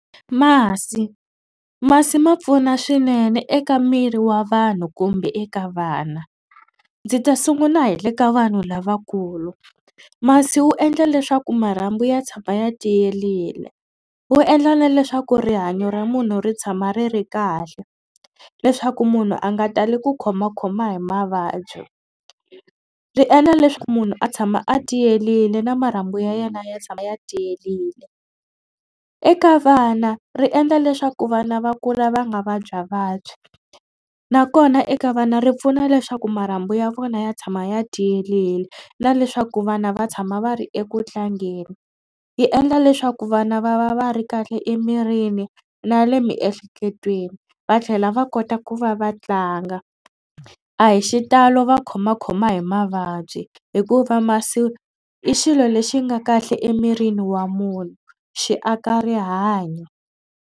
Masi masi ma pfuna swinene eka miri wa vanhu kumbe eka vana. Ndzi ta sungula hi le ka vanhu lavakulu masi wu endla leswaku marhambu ya tshama ya tiyerile wu endla na leswaku rihanyo ra munhu ri tshama ri ri kahle leswaku munhu a nga tali ku khomakhoma hi mavabyi ri endla leswaku munhu a tshama a tiyerile na marhambu ya yena ya tshama ya tiyerile. Eka vana ri endla leswaku vana va kula va nga vabyavabyi nakona eka vana ri pfuna leswaku marhambu ya vona ya tshama ya tiyerile na leswaku vana va tshama va ri eku tlangeni. Yi endla leswaku vana va va va ri kahle emirini na le miehleketweni va tlhela va kota ku va va tlanga a hi xitalo va khomakhoma hi mavabyi hikuva masi i xilo lexi nga kahle emirini wa munhu xi aka rihanyo.